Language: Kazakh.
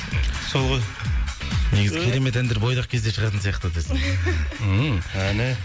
сол ғой негізі керемет әндер бойдақ кезде шығатын сияқты ммм әне